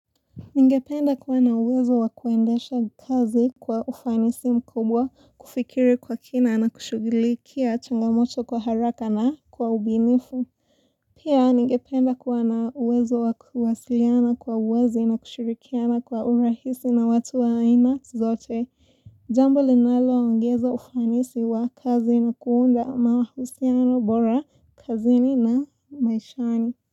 Ningependa kuwa na uwezo wa kuendesha kazi kwa ufanisi mkubwa kufikiri kwa kina na kushugilikia changamoto kwa haraka na kwa ubinifu. Pia ningependa kuwa na uwezo wa kuwasiliana kwa wazi na kushirikiana kwa urahisi na watu wa aina zote. Jambo linaloongeza ufanisi wa kazi na kuunda mahusiano bora kazini na maishani.